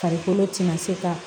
Farikolo tɛna se ka